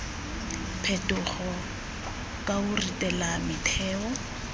phetogo ka o ritela metheo